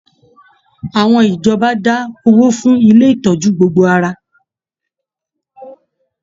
Àwọn ìjọba da owó fún ilé ìtọjú gbogbo ara.